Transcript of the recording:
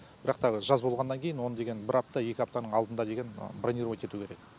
бірақ та жаз болғаннан кейін оны деген бір апта екі аптаның алдында деген бронировать ету керек